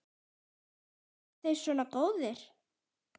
Eru þeir svona góðir?